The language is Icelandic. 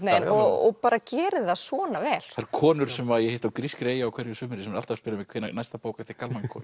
veginn og bara gerir það svona vel konur sem ég hitti á grískri eyju á hverju sumri eru alltaf að spyrja mig hvenær næsta bók eftir Kalman komi